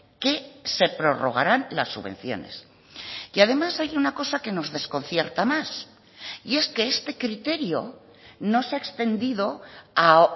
que se prorrogarán las subvenciones y además hay una cosa que nos desconcierta más y es que este criterio no se ha extendido a